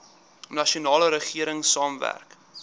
nasionale regering saamwerk